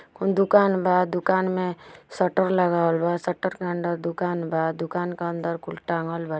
कोन दुकान बा दुकान में. सटर लगावल बा सटर के अंदर दुकान बा दुकान के अंदर कुल टाँगल बा।